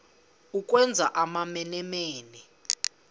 ukwenza amamene mene